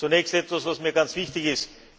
Zunächst etwas was mir ganz wichtig ist.